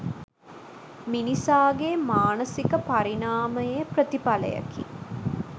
මිනිසාගේ මානසික පරිණාමයේ ප්‍රතිඵලයකි.